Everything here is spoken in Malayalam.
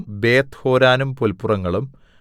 ബേത്ത്ഹോരോനും പുല്പുറങ്ങളും